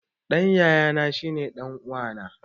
Ɗan yayana shine ɗan wa na